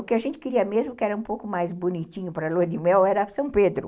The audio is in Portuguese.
O que a gente queria mesmo, que era um pouco mais bonitinho para lua de mel, era São Pedro.